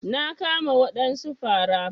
Na kama wadansu fara.